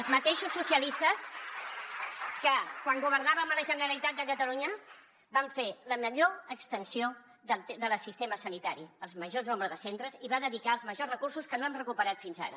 els mateixos socialistes que quan governàvem a la generalitat de catalunya vam fer la millor extensió del sistema sanitari el major nombre de centres i va dedicar els majors recursos que no hem recuperat fins ara